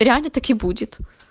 реально так и будет